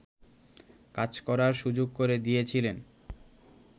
কাজ করার সুযোগ করে দিয়েছিলেন